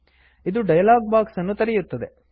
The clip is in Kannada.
ಇದು ಡಯಲಾಗ್ ಬಾಕ್ಸ್ ಅನ್ನು ತೆರೆಯುತ್ತದೆ